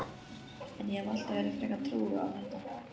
En ég hef alltaf verið frekar trúuð á þetta.